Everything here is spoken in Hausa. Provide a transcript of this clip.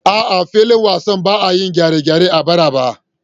A'a, filin wasan ba a yi gyare-gyare a bara ba.